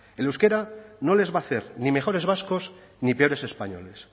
el euskera no les va a hacer ni mejores vascos ni peores españoles